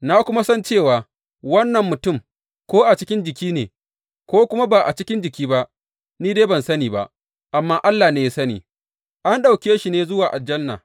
Na kuma san cewa wannan mutum, ko a cikin jiki ne, ko kuma ba a cikin jiki ba, ni dai ban sani ba, amma Allah ne ya sani, an ɗauke shi ne zuwa aljanna.